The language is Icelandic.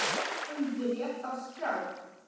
Hann byrjar að skrá.